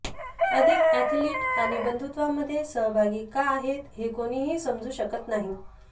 अधिक ऍथलीट आणि बंधुत्वामध्ये सहभागी का आहेत हे कोणीही समजू शकत नाही